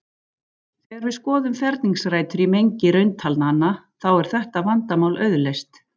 Þegar við skoðum ferningsrætur í mengi rauntalnanna þá er þetta vandamál auðleyst.